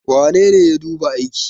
wanene ya duba aiki?